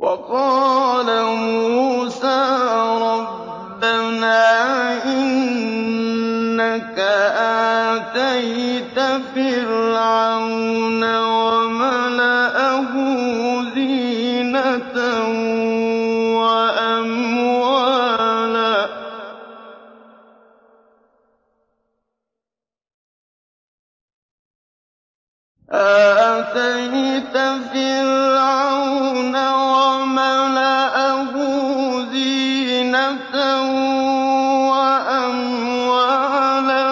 وَقَالَ مُوسَىٰ رَبَّنَا إِنَّكَ آتَيْتَ فِرْعَوْنَ وَمَلَأَهُ زِينَةً وَأَمْوَالًا